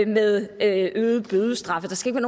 med øgede bødestraffe det skal der